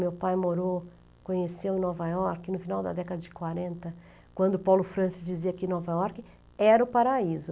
Meu pai morou, conheceu Nova York no final da década de quarenta, quando Paulo Francis dizia que Nova York era o paraíso.